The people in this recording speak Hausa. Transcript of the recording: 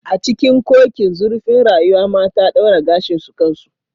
A cikin cocin zurfin rayuwa mata daura gashin su kansu